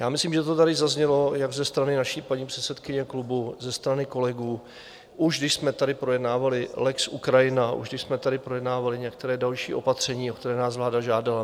Já myslím, že to tady zaznělo jak ze strany naší paní předsedkyně klubu, ze strany kolegů, už když jsme tady projednávali lex Ukrajina, už když jsme tady projednávali některá další opatření, o která nás vláda žádala.